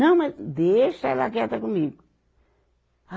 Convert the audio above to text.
Não, mas deixa ela quieta comigo.